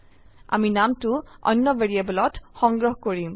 আমি নামটো অন্য ভ্যাৰিয়েবলত সংগ্ৰহ কৰিম